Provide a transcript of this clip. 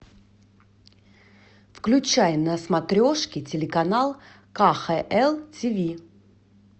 включай на смотрешке телеканал кхл тв